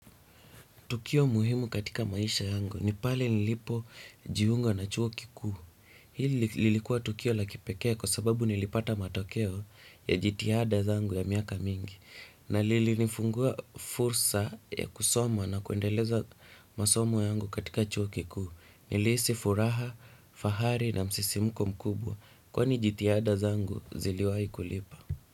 Tukio muhimu katika maisha yangu. Nipale nilipo jiunga na chuo kikuu. Hii lilikuwa tukio laki pekee kwa sababu nilipata matokeo ya jitiada zangu ya miaka mingi. Na lili nifungua fursa ya kusoma na kuendeleza masomo yangu katika chuo kikuu. Nilisi furaha, fahari na msisimuko mkubwa. Kwani jitihada zangu ziliwahi kulipa.